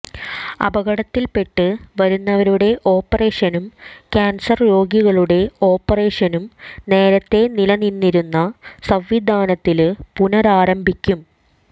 അപകടത്തില്പെട്ട് വരുന്നവരുടെ ഓപ്പറേഷനും കാന്സര് രോഗികളുടെ ഓപ്പറേഷനും നേരത്തെ നിലനിന്നിരുന്ന സംവിധാനത്തില് പുനരാരംഭിക്കും